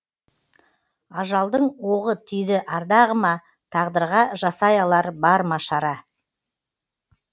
ажалдың оғы тиді ардағыма тағдырға жасай алар бар ма шара